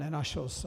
Nenašlo se.